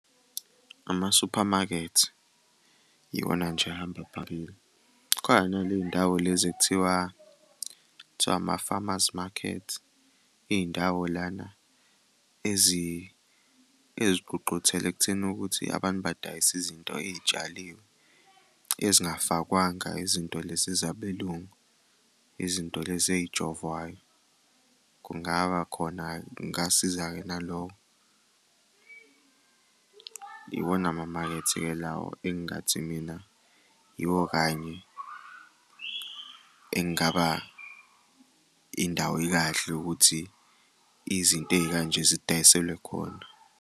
Ama-supermarket iwona nje ahamba phambili. Khona naley'ndawo lezi ekuthiwa, kuthiwa ama-farmers market, iy'ndawo lana ezigqugquthela ekutheni ukuthi abantu badayise izinto ey'tshaliwe ezingafakwanga izinto lezi zabelungu, izinto lezi ey'jovwayo. Kungaba khona, kungasiza-ke nalokho. Iwona amamakethe-ke lawo engathi mina yiwo kanye engaba indawo ekahle ukuthi izinto ey'kanje zidayiselwe khona.